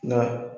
Nka